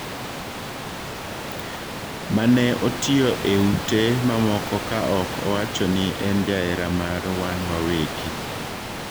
Ma ne otiyo e ute mamoko ka ok owachoni en jahera mar wan wawegi.